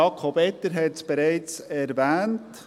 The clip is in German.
– Jakob Etter hat es bereits erwähnt: